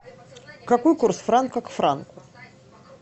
какой курс франка к франку